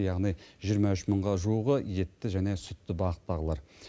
яғни жиырма үш мыңға жуығы етті және сүтті бағыттағылар